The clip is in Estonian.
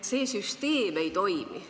See süsteem ei toimi.